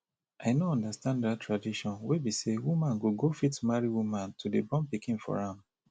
i no understand dat tradition wey be say woman go go fit marry woman to dey born pikin for am